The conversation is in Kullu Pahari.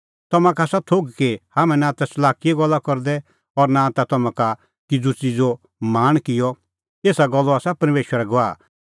तम्हां का आसा थोघ कि हाम्हैं नां ता च़लाकीए गल्ला करदै और नां ता तम्हां का किज़ू च़िज़ो लाल़च़ किअ एसा गल्लो आसा परमेशर गवाह